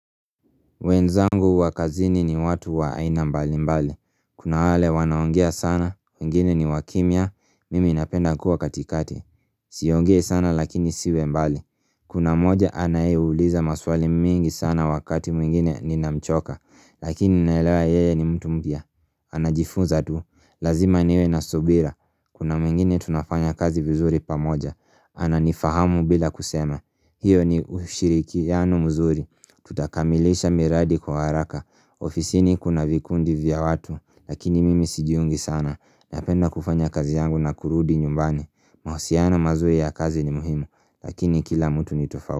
Wenzangu wa kazini ni watu wa aina mbalimbali. Kuna wale wanaongea sana, wengine ni wakimya. Mimi napenda kuwa katikati. SiongeI sana lakini nisiwe mbali. Kuna moja anayeuliza maswali mingi sana wakati mwingine ninamchoka, lakini naelewa yeye ni mtu mpya. Anajifunza tu. Lazima niwe na subira. Kuna mwingine tunafanya kazi vizuri pamoja. Ananifahamu bila kusema. Hiyo ni ushirikiano mzuri. Tutakamilisha miradi kwa haraka. Ofisini kuna vikundi vya watu, Lakini mimi sijiungi sana. Napenda kufanya kazi yangu na kurudi nyumbani. Mahusiana mazuri ya kazi ni muhimu. Lakini kila mtu ni tofau.